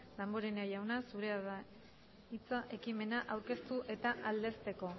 damborenea jauna zurea da hitza ekimena aurkeztu eta aldezteko